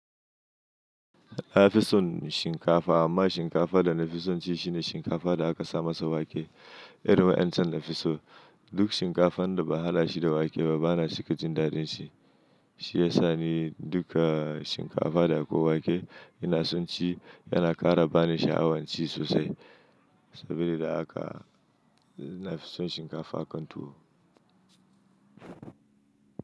Na fi son shinkafa amma shinkafa da na fi son ci shine shinkafa da aka sama sa wake. Irin wa'yancan nafiso, duk shinkafan da ba haɗa shi da wake ba, ba na cika jin daɗin shi. Shiyasa ni dukka shinkafa da akwai wake ina son ci, yana ƙara bani sha'awan ci sosai. Saboda haka nafi son shinkafa akan tuwo.